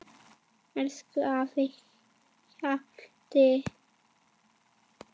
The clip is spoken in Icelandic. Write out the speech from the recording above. Elsku afi Hjalti.